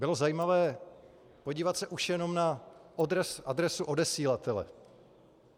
Bylo zajímavé podívat se už jenom na adresu odesílatele.